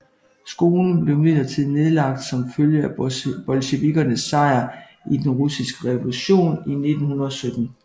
Skolen blev imidlertid nedlagt som følge af bolsjevikkernes sejr i den russiske revolution i 1917